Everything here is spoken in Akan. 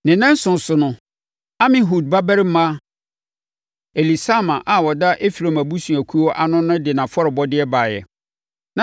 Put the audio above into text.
Ne nnanson so no, Amihud babarima Elisama a ɔda Efraim abusuakuo ano no de nʼafɔrebɔdeɛ baeɛ.